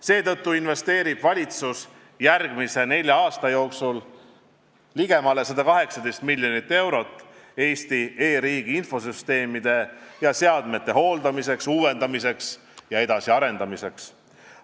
Seetõttu eraldab valitsus järgmise nelja aasta jooksul ligemale 118 miljonit eurot Eesti e-riigi infosüsteemide ja seadmete hooldamiseks, uuendamiseks ja edasiarendamiseks.